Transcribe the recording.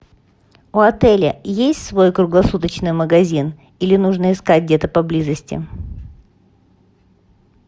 у отеля есть свой круглосуточный магазин или нужно искать где то поблизости